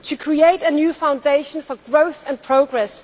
to create a new foundation for growth and progress